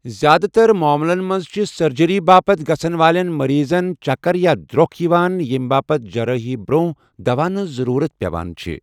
زِیٛادٕ تَر ماملن منٛز چھِٗ سرجری باپتھ گژھَن والٮ۪ن مریضَن چَکَر یا در٘وكھ یِوان ییمہِ باپت جرٲحی برونہہ دواہن ہنز ضروُرت پیوان چھِ ۔